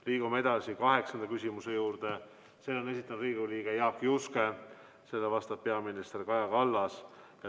Liigume edasi kaheksanda küsimuse juurde, selle on esitanud Riigikogu liige Jaak Juske ja sellele vastab peaminister Kaja Kallas.